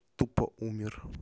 тупо умер